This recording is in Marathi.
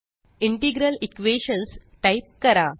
इंटिग्रल Equations टाइप करा